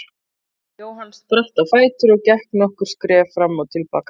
Jóhann spratt á fætur og gekk nokkur skref fram og til baka.